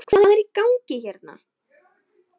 HVAÐ ER Í GANGI HÉRNA????